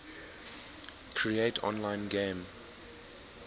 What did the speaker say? create online game